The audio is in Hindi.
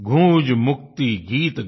गूंज मुक्ति गीत गया